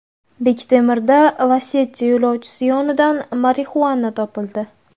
Bektemirda Lacetti yo‘lovchisi yonidan marixuana topildi.